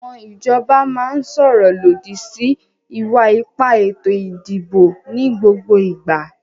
Àwọn ìjọba máa ń sọ̀rọ̀ lòdì sí ìwà ipá ètò ìdìbò ní gbogbo ìgbà.